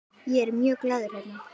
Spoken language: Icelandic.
Ég er mjög glaður hérna.